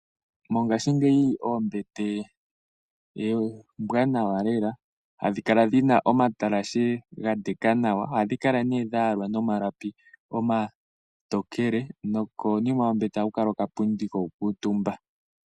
Mongashingeyi eembete oombwanawa lela, ha dhi kala dhina omatalashe omanene nawa, oha dhi kala ne dha yalwa nomalapi omatokrle, nokonima yo meter, oha ku kala oka pundi ko ku kuutumba.